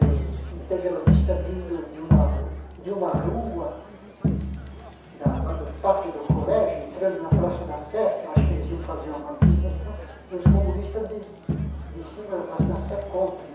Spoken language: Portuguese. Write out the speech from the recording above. os integralistas vindo de uma de uma rua, lá do pátio do colégio, entrando na Praça da Sé, que eu acho que eles iam fazer uma manifestação, e os comunistas de de cima da Praça da Sé contra.